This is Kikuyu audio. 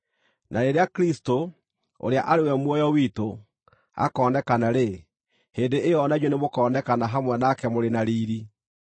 Na rĩrĩa Kristũ, ũrĩa arĩ we muoyo witũ, akoonekana-rĩ, hĩndĩ ĩyo o na inyuĩ nĩmũkonekana hamwe nake mũrĩ na riiri.